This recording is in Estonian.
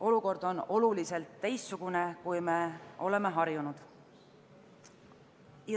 Olukord on teistsugune, kui me oleme harjunud.